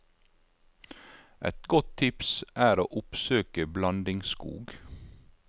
Et godt tips er å oppsøke blandingsskog.